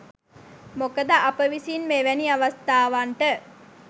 මොකද අප විසින් මෙවැනි අවස්ථාවන්ට